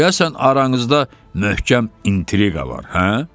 deyəsən aranızda möhkəm intriqa var, hə?